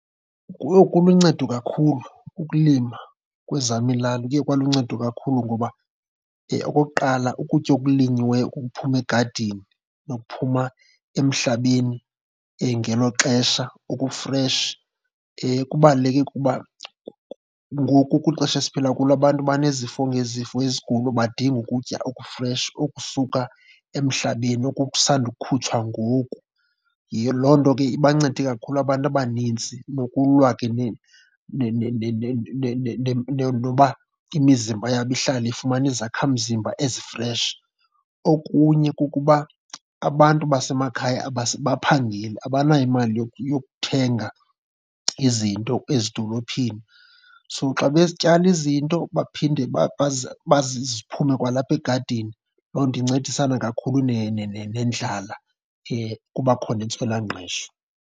Yho, kuluncedo kakhulu ukulima kwezam iilali, kuye kwaluncedo kakhulu. Ngoba okokuqala, ukutya okulinyiweyo okuphuma egadini nokuphuma emhlabeni ngelo xesha okufreshi kubaluleke kuba ngoku kwixesha esiphila kulo abantu banezifo ngezifo, izigulo, badinga ukutya okufresh okusuka emhlabeni, oku kusandukhutshwa ngoku. Loo nto ke ibancede kakhulu abantu abanintsi nokulwa ke noba imizimba yabo ihlale ifumana izakhamzimba ezifreshi. Okunye kukuba abantu basemakhaya abaphangeli, abanayo imali yokuthenga izinto ezidolophini. So xa betyala izinto baphinde ziphume kwalapha egadini, loo nto incedisana kakhulu nendlala, kuba khona intswelangqesho.